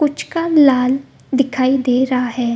पुचका लाल दिखाई दे रहा है।